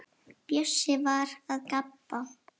Bjössi var að gabba.